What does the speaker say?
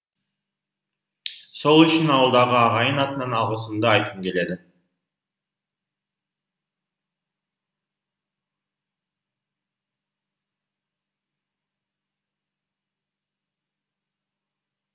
сол үшін ауылдағы ағайын атынан алғысымды айтқым келеді